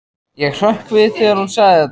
Ég hrökk við þegar hún sagði þetta.